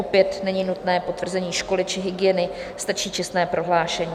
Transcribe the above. Opět není nutné potvrzení školy či hygieny, stačí čestné prohlášení.